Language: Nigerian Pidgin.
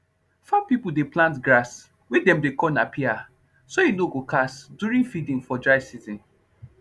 farm people dey plant grass wey dem dey call napier so e nor go cast during feeding for dry season